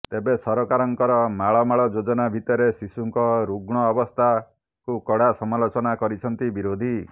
ତେବେ ସରକାରଙ୍କର ମାଳ ମାଳ ଯୋଜନା ଭିତରେ ଶିଶୁଙ୍କ ରୁଗୁଣ ଅବସ୍ଥାକୁ କଡା ସମାଲୋଚନା କରିଛନ୍ତି ବିରୋଧୀ